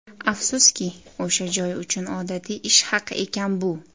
Afsuski, o‘sha joy uchun odatiy ish haqi ekan bu.